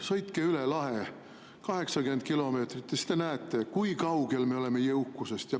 Sõitke üle lahe, 80 kilomeetrit, ja siis te näete, kui kaugel me oleme jõukusest.